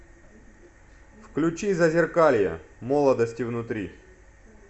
включи зазеркалье молодости внутри